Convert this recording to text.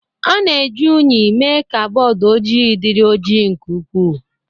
A na-eji unyi emee ka bọọdụ ojii dịrị ojii nke ukwu